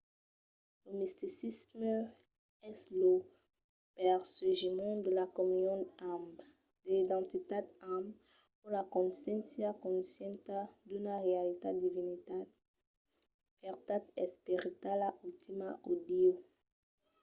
lo misticisme es lo perseguiment de la comunion amb de l'identitat amb o la consciéncia conscienta d'una realitat divinitat vertat esperitala ultima o dieu